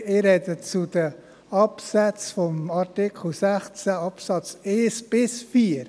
: Ich spreche zum Artikel 16 Absätze 1 bis 4.